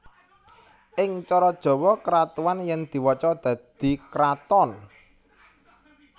Ing cara Jawa keratuan yen diwaca dadi kraton